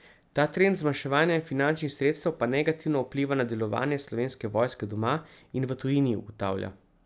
Ta trend zmanjševanja finančnih sredstev pa negativno vpliva na delovanje Slovenske vojske doma in v tujini, ugotavlja.